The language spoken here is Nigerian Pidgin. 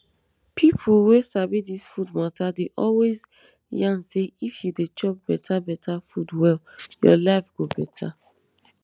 birth-control wey government dey sponsor dey promote person um right to choose wen im um wan bornthis na part of the way di country go develop.